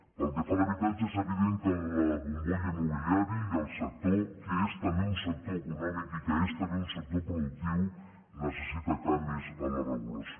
pel que fa a l’habitatge és evident que la bombolla immobiliària i el sector que és també un sector econòmic i que és també un sector productiu necessiten canvis en la regulació